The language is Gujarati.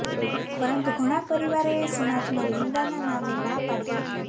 પરંતુ ઘણા પરિવારોએ સમાજમાં નિંદાના નામે ના પાડી હતી